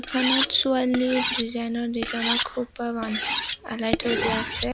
ছবিখনত ছোৱালীৰ ডিজাইন ৰ ডিজাইন ৰ খোপা বান্ধ আলাই থৈ দিয়া আছে।